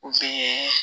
O fɛn